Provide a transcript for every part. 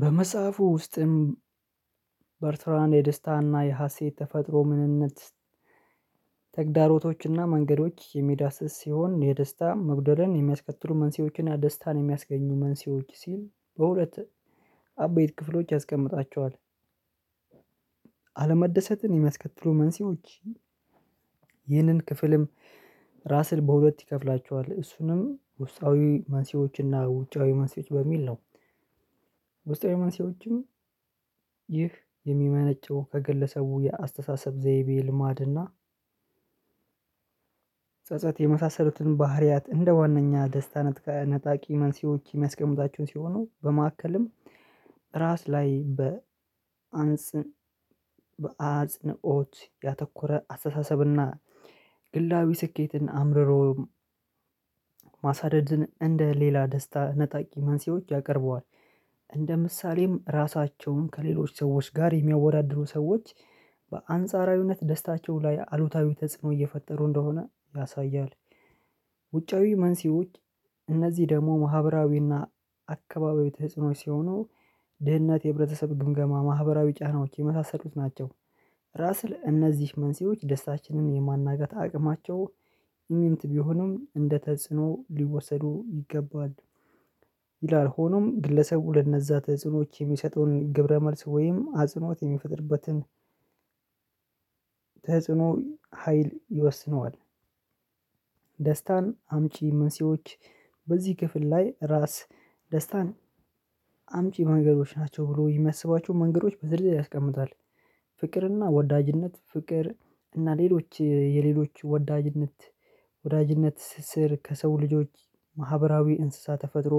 በመጽሐፉ ውስጥም በርትራን የደስታና የሀሴት ተፈጥሮ ምንነት ተግዳሮቶችና መንገዶች የሚዳስስ ሲሆን የደስታ መጉደልን የሚያስከትሉ መንስኤዎችን እና ደስታን የሚያስገኙ መንስኤዎች ሲል በሁለት አቤት ክፍሎች ያስቀምጣቸዋል አለመደሰትን የሚያስከትሉ መንስኤዎች ይህንን ክፍልም ራስን በሁለት ይከፍላቸዋል። እሱንም ውስጣዊ ማንሴዎችና ውጫዊ ማንሴዎች በሚል ነው። ውስጣዊ መንስኤዎችም ይህ የሚመነጨው ከገለሰቡ የአስተሳሰብ ዘይቤ ልማድና ጸጸት የመሳሰሉትን ባህሪያት እንደ ዋናኛ ደስታነት ነጣቂ መንስኤዎች የሚያስቀምጣችሁን ሲሆኑ በመካከልም ራስ ላይ በአጽንኦት ያተኮረ አስተሳሰብና ግላዊ ስኬትን አምርሮ ማሳደድን እንደ ሌላ ደስታ ነጣቂ መንስኤዎች ያቀርበዋል። እንደ ምሳሌም ራሳቸውን ከሌሎች ሰዎች ጋር የሚያወዳድሩ ሰዎች በአንጻራዊነት ደስታቸው ላይ አሉታዊ ተጽዕኖ እየፈጠሩ እንደሆነ ያሳያል። ውጫዊ መንሲዎች እነዚህ ደግሞ ማህበራዊና አካባቢው ተህጽኖች ሲሆኑ ድህነት የህብረተሰብ ግምገማ ማህበራዊ ጫናዎች የመሳሰሉት ናቸው። ራስን እነዚህ መንስኤዎች ደስታችንን የማናገት አቅማቸው ኢሚንት ቢሆኑም እንደ ተጽዕኖ ሊወሰዱ ይገባል። ይላል ሆኖም ግለሰቡ ለነዛ ተጽዕኖዎች የሚሰጠውን ግብረ መልስ ወይም አጽኖት የሚፈጥርበትን ሀይል ይወስነዋል። ደስታን አምጪ መንስኤዎች በዚህ ክፍል ላይ ራስ ደስታን አምጪ መንገዶች ናቸው ብሎ የሚያስባቸው መንገዶች በዝርዝር ያስቀምጣል። ፍቅርና ወዳጅነት ፍቅር እና ሌሎች የሌሎች ወዳጅነት ስር ከሰው ልጆች ማህበራዊ እንስሳ ተፈጥሮ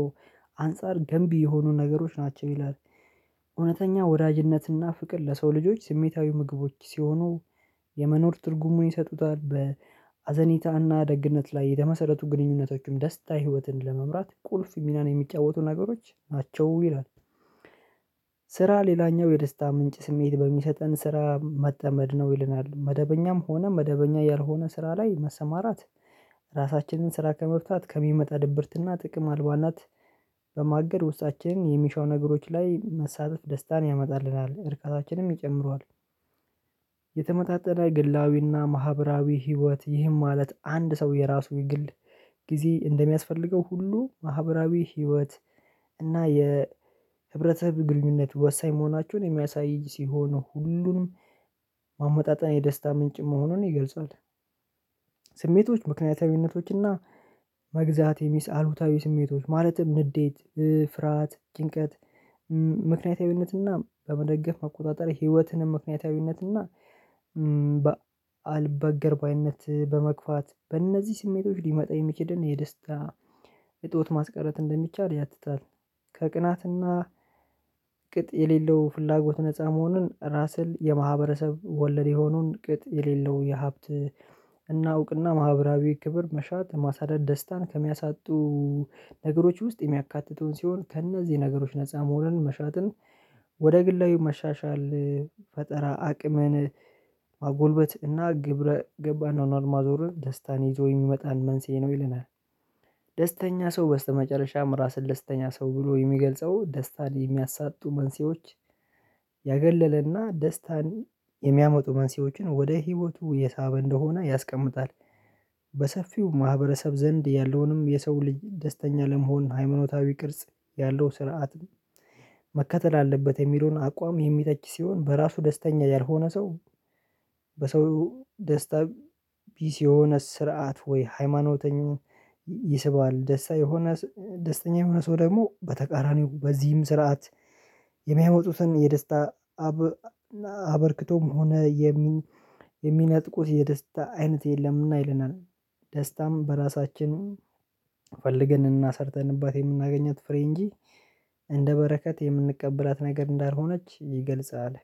አንፃር ገንቢ የሆኑ ነገሮች ናቸው ይላል። እውነተኛ ወዳጅነትና ፍቅር ለሰው ልጆች ስሜታዊ ምግቦች ሲሆኑ የመኖር ትርጉሙን ይሰጡታል፤ በአዘኒታና ደግነት ላይ የተመሰረቱ ግንኙነቶችም ደስታ ህይወትን ለመምራት ቁልፍ ሚናን የሚጫወቱ ነገሮች ናቸው ይላል። ስራ ሌላኛው የደስታ ምንጭ ስሜት በሚሰጠን ስራ መጠመድ ነው ይለናል። መደበኛም ሆነ መደበኛ ያልሆነ ስራ ላይ መሰማራት ራሳችንን ስራ ከመፍታት ከሚመጣ ድብርትና ጥቅም አልባናት በማገድ ውሳችን የሚሻው ነገሮች ላይ መሳተፍ ደስታን ያመጣልናል። እርካታችንም ይጨምረዋል የተመጣጣነ ግላዊና ማህበራዊ ህይወት ይህም ማለት አንድ ሰው የራሱ የግል ጊዜ እንደሚያስፈልገው ሁሉ ማህበራዊ ህይወት እና የህብረተህብ ግንኙነት ወሳኝ መሆናቸውን የሚያሳይ ሲሆን ሁሉንም ማመጣጠን የደስታ ምንጭ መሆኑን ይገልጻል። ስሜቶች ምክንያታዊነቶች እና መግዛት የሚስ አሉታዊ ስሜቶች ማለትም ንዴት፤ ፍርሃት፤ ጭንቀት፤ ምክንያታዊነትና በመደገፍ አቆጣጠር ህይወትንም ምክንያታዊነትና አልበገር ባይነት በመግፋት በእነዚህ ስሜቶች ሊመጣ የሚችድን የደስታ እጦት ማስቀረት እንደሚቻል ያትታል። ከቅናትና ቅጥ የሌለው ፍላጎት ነፃ መሆኑን ራስል የማህበረሰብ ወለድ የሆኑን ቅጥ የሌለው የሀብት እውቅና ማህበራዊ ክብር መሻት ማሳደድ ደስታን ከሚያሳጡ ነገሮች ውስጥ የሚያካትተውን ሲሆን ከእነዚህ ነገሮች ነፃ መሆኑን መሻትን ወደ ግላዊ መሻሻል ፈጠራ አቅምን ማጎልበት እና ግብረ ገብ አኗኗር ማዞርን ደስታን ይዞ የሚመጣን መንስኤ ነው ይለናል። ደስተኛ ሰው በስተመጨረሻም ራስን ደስተኛ ሰው ብሎ የሚገልጸው ደስታን የሚያሳጡ መንሴዎች ያገለለና ደስታን የሚያመጡ መንስኤዎችን ወደ ህይወቱ የሳበ እንደሆነ ያስቀምጣል። በሰፊው ማህበረሰብ ዘንድ ያለውንም የሰው ልጅ ደስተኛ ለመሆን ሃይምኖታዊ ቅርጽ ያለው ስርዓትም መከተል አለበት የሚለውን አቋም የሚተች ሲሆን በራሱ ደስተኛ ያልሆነ ሰው በሰው ደስታ ቢስ የሆነ ስርዓት ወይ ሃይማኖተኛ ይስባል። ደስተኛ የሆነ ሰው ደግሞ በተቃራኒው በዚህም ስርዓት የሚያመጡትን የደስታ አበርክቶም ሆነ የሚነጥቁት የደስታ አይነት የለምና ይለናል። ደስታም በራሳችን ፈልገንና ሰርተንባት የምናገኛት ፍሬ እንጂ እንደ በረከት የምንቀበላት ነገር እንዳልሆነች ይገልጻል።